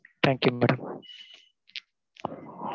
Thank you madam